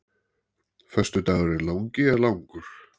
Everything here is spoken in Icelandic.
Föstudagurinn langi er langur.